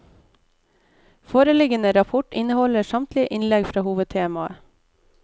Foreliggende rapport inneholder samtlige innlegg fra hovedtemaet.